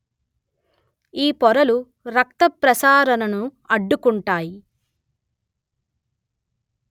ఈ పొరలు రక్తప్రసారణను అడ్టుకుంటాయి